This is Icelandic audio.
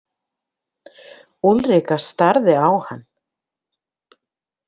Úlrika starði á hann.